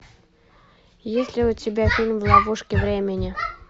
есть ли у тебя фильм в ловушке времени